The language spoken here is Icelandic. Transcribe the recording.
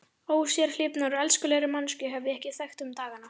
Ósérhlífnari og elskulegri manneskju hef ég ekki þekkt um dagana.